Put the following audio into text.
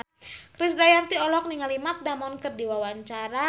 Krisdayanti olohok ningali Matt Damon keur diwawancara